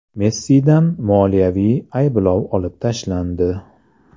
Messidan moliyaviy ayblov olib tashlandi.